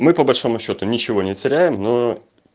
мы по большому счёту ничего не теряем но